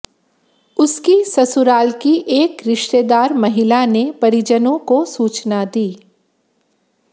उसकी ससुराल की एक रिश्तेदार महिला ने परिजनों को सूचना दी